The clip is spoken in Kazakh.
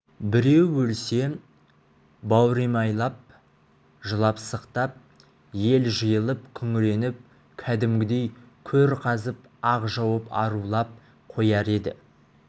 біреу өлсе бауыремайлап жылап-сықтап ел жиылып күңіреніп кәдімгідей көр қазып ақ жауып арулап қояр еді